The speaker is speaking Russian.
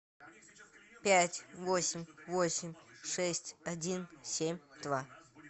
пять восемь восемь шесть один семь два